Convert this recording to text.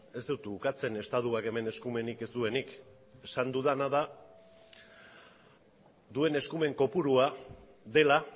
ez dut ukatzen estatuak hemen eskumenik ez duenik esan dudana da duen eskumen kopurua dela